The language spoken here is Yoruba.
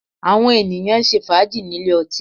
Àwọn ènìyàn ń ṣe fàájì nílé ọtí